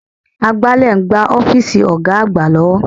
Agbálẹ̀ ń gbá ọ́fíìsì Ọ̀ga àgbà lọ́wọ́